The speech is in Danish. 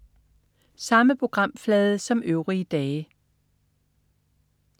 Samme programflade som øvrige dage